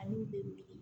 Ani de